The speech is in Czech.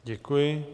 Děkuji.